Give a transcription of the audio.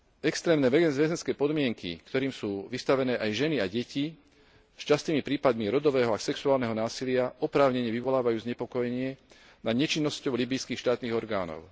Extrémne väzenské podmienky, ktorým sú vystavené aj ženy a deti s častými prípadmi rodového a sexuálneho násilia oprávnene vyvolávajú znepokojenie nad nečinnosťou líbyjských štátnych orgánov.